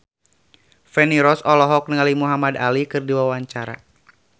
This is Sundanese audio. Feni Rose olohok ningali Muhamad Ali keur diwawancara